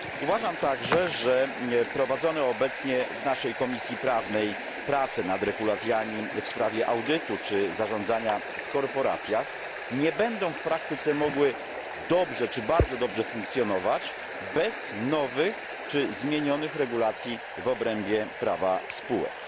Uważam także, że prowadzone obecnie w naszej Komisji Prawnej prace nad regulacjami w sprawie audytu czy zarządzania w korporacjach nie będą w praktyce mogły dobrze czy bardzo dobrze funkcjonować bez nowych czy zmienionych regulacji w obrębie prawa spółek.